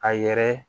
A yɛrɛ